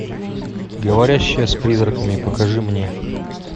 говорящая с призраками покажи мне